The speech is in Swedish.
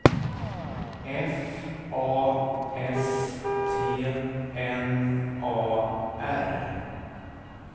F A S T N A R